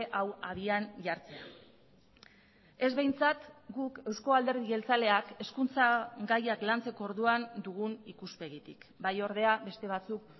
hau abian jartzea ez behintzat guk euzko alderdi jeltzaleak hezkuntza gaiak lantzeko orduan dugun ikuspegitik bai ordea beste batzuk